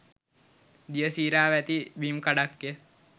දියසීරාව ඇති බිම්කඩක්ය